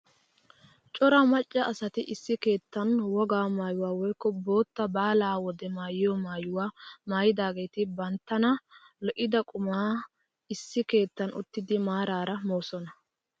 Cora macca asati issi keettan wogaa maayuwaa woykko bootta baalaa wode maayiyoo maayuwaa maayidaageti banttana lo"ida qumaa issi keettan uttidi maarara moosona!